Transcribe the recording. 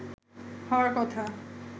হওয়ার কথা